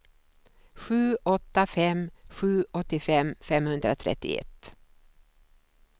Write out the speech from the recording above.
sju åtta fem sju åttiofem femhundratrettioett